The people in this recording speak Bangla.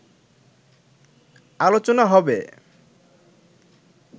আলোচনা হবে